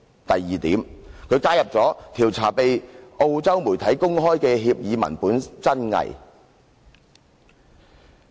第二，加入"調查被澳洲媒體公開的協議文本真偽"。